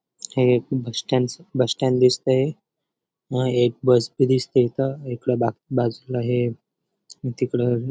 हे एक बस स्टॅन्डच बस स्टँड दिसतय हा एक बस बी दिसतीये इथं इकडं बा बाजूला हे तिकडं --